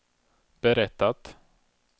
berättat